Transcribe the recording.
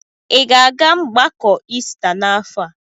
Ị ga-aga mgbakọ Ista n'afọ a?